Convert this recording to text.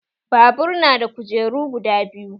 Babur na da kujeru guda biyu